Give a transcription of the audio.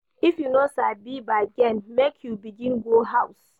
If you no sabi bargain, make you begin go house.